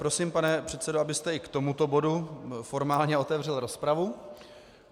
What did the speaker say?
Prosím, pane předsedo, abyste i k tomuto bodu formálně otevřel rozpravu.